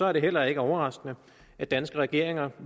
er det heller ikke overraskende at danske regeringer